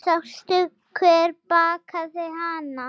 Sástu hver bakaði hana?